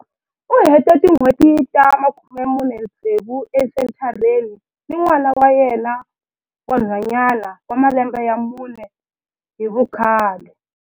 U hete tin'hweti ta 46 esenthareni ni n'wana wa yena wa nhwanyana wa malembe ya mune hi vukhale.